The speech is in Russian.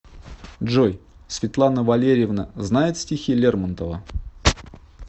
джой светлана валерьевна знает стихи лермонтова